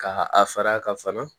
Ka a fara kan